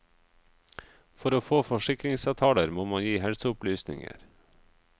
For å få forsikringsavtaler, må man gi helseopplysninger.